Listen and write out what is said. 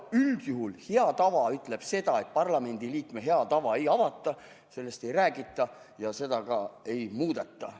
Üldjuhul hea tava ütleb seda, et Riigikogu liikme hea tava ei avata, sellest ei räägita ja seda ka ei muudeta.